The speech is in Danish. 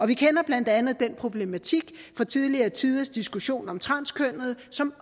vi kender blandt andet den problematik fra tidligere tiders diskussion om transkønnede som